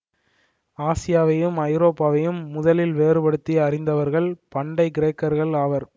ஆசியாவையும் ஐரோப்பாவையும் முதலில் வேறுபடுத்தி அறிந்தவர்கள் பண்டை கிரேக்கர்கள் ஆவர்